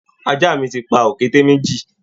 Àja mi ti pa òkété méjì